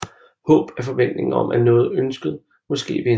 Håb er forventningen om at noget ønsket måske vil indtræffe